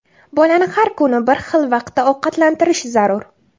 Bolani har kuni bir xil vaqtda ovqatlantirish zarur.